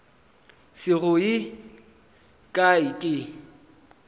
se go ye kae ke